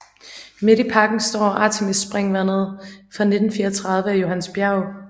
Midt i parken står Artemisspringvandet fra 1934 af Johannes Bjerg